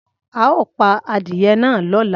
Ao pa adiye na lola.